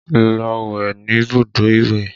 Lọ wẹ̀ níbùdó ìwẹ̀!